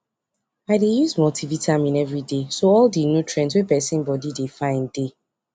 I dey use multivitamin everyday so all nutrient wey person body dey find dey